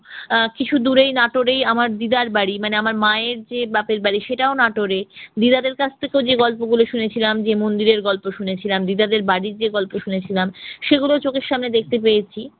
আহ কিছু দূরেই নাটোরেই আমার দিদার বাড়ি, মানে আমার মায়ের যে বাপের বাড়ি সেটাও নাটোরে। দিদাদের কাছ থেকেও যে গল্পগুলো শুনেছিলাম, যে মন্দিরের গল্প শুনেছিলাম, দিদাদের বাড়ির যে গল্প শুনেছিলাম সেগুলো চোখের সামনে দেখতে পেয়েছি।